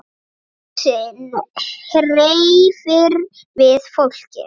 Dansinn hreyfir við fólki.